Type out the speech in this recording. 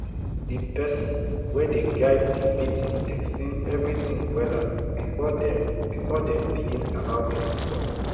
the person wey dey guide the meeting explain everything wella before dem before dem begin allow people talk